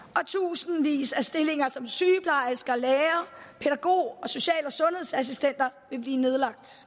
og tusindvis af stillinger som sygeplejersker læger pædagoger og social og sundhedsassistenter vil blive nedlagt